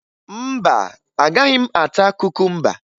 Mba, agaghị m ata kukumba